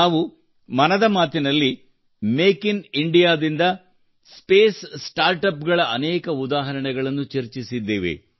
ನಾವು ಮನದ ಮಾತಿನಲ್ಲಿ ಮೇಕ್ ಇನ್ ಇಂಡಿಯಾ ದಿಂದ ಸ್ಪೇಸ್ ಸ್ಟಾರ್ಟ್ಅಪ್ ಗಳ ಅನೇಕ ಉದಾಹರಣೆಗಳನ್ನು ಚರ್ಚಿಸಿದ್ದೇವೆ